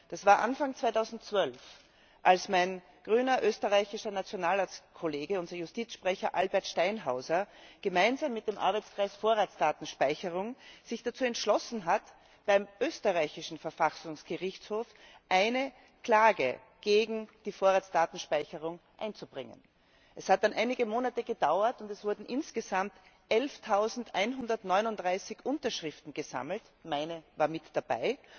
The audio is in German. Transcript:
Das war Anfang 2012, als mein grüner österreichischer Nationalratskollege, unser Justizsprecher Albert Steinhauser, gemeinsam mit dem Arbeitskreis Vorratsdatenspeicherung sich dazu entschlossen hat, beim österreichischen Verfassungsgerichtshof eine Klage gegen die Vorratsdatenspeicherung einzubringen. Es hat dann einige Monate gedauert, und es wurden insgesamt 11139 Unterschriften gesammelt meine war mit dabei